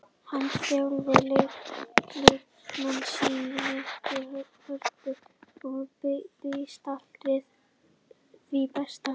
Hann þjálfar leikmenn sína af mikilli hörku og býst alltaf við því besta.